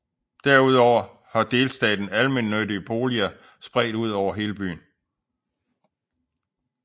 Derudover har delstaten almennyttige boliger spredt ud over hele byen